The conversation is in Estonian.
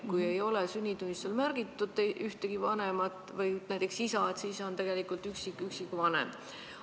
Kui sünnitunnistusel ei ole märgitud ühte vanemat, näiteks isa, siis on teine vanem üksikvanem.